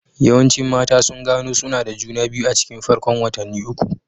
Yawancin mata sun gano suna da juna biyu a cikin farkon watanni uku.